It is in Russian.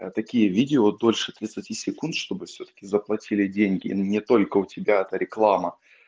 а такие видео дольше тридцати секунд чтобы всё-таки заплатили деньги не только у тебя-то реклама